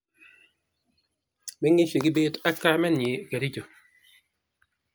meng'ishe kibet ak kamennyi kericho